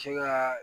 Sin ka